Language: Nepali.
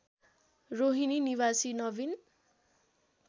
रोहिणी निवासी नवीन